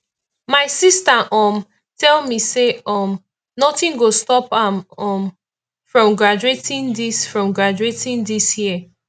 my sister um tell me say um nothing go stop am um from graduating dis from graduating dis year